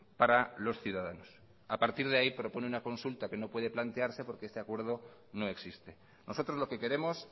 para los ciudadanos a partir de ahí propone una consulta que no puede plantearse porque ese acuerdo no existe nosotros lo que queremos